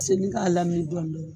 Senni k'a laminɛ dɔɔni dɔɔni